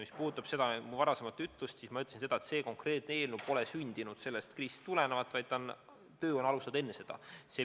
Mis puudutab mu varasemaid sõnu, siis ma ütlesin seda, et see konkreetne eelnõu pole sündinud sellest kriisist tulenevalt, vaid tööd on alustatud enne seda.